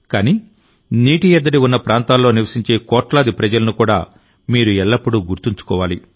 కానీనీటి ఎద్దడి ఉన్న ప్రాంతాలలో నివసించే కోట్లాది ప్రజలను కూడా మీరు ఎల్లప్పుడూ గుర్తుంచుకోవాలి